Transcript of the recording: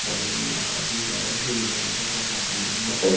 बगल मे एक आदमी जा रहा है जो नीले रंग का कपड़ा पेहना हुआ है।